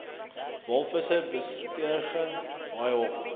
walvisse besigtiging haaihok